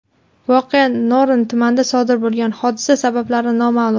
Voqea Norin tumanida sodir bo‘lgan, hodisa sabablari noma’lum.